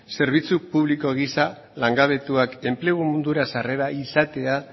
zerbitzu publiko gisa langabetuak enplegu mundura sarrera izatea